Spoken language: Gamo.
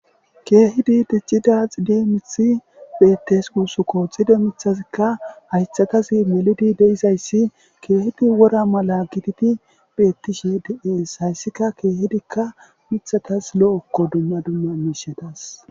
Keehidi ticcida xide mithi beettes uusuko xide mithazikka haythakas meludi de'isayssi keehidi wora mala gititi bettishe de'ees hayssika keehidikka mithatas lo'okko dumma dumma miishadas.